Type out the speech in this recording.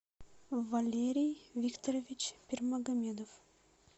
валерий викторович пермагомедов